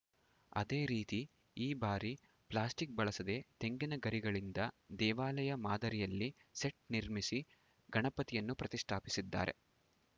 ಅದೇ ರೀತಿ ಈ ಭಾರಿ ಪ್ಲಾಸ್ಟಿಕ್‌ ಬಳಸದೆ ತೆಂಗಿನ ಗರಿಗಳಿಂದ ದೇವಾಲಯ ಮಾದರಿಯಲ್ಲಿ ಸೆಟ್‌ ನಿರ್ಮಿಸಿ ಗಣಪತಿಯನ್ನು ಪ್ರತಿಷ್ಠಾಪಿಸಿದ್ದಾರೆ